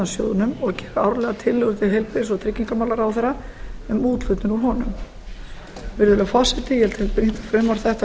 sjóðnum og gera árlega tillögur til heilbrigðis og tryggingamálaráðherra um úthlutun úr honum virðulegi forseti ég tel brýnt að frumvarp þetta